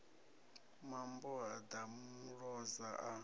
mambo ha ḓa muloza a